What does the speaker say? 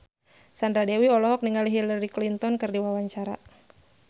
Sandra Dewi olohok ningali Hillary Clinton keur diwawancara